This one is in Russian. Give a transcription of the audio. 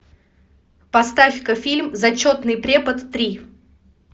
поставь ка фильм зачетный препод три